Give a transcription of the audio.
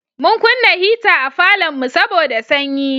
Mun kunna hita a falonmu saboda sanyi.